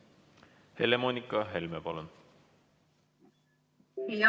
Helle-Moonika Helme, palun!